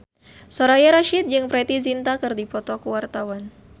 Soraya Rasyid jeung Preity Zinta keur dipoto ku wartawan